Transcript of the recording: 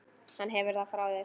Hún hefur það frá þér.